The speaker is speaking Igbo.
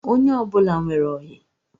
Onye ọbụla nwere oyi